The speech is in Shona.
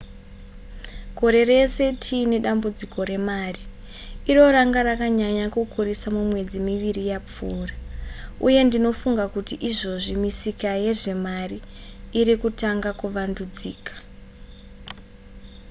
gore rese tiine dambudziko remari iro ranga rakanyanya kukurisisa mumwedzi miviri yapfuura uye ndinofunga kuti izvozvi misika yezvemari iri kutanga kuvandudzika